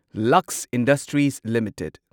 Lux industries limited